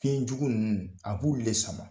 Fiɲɛjugu ninnu a b'olu le sama.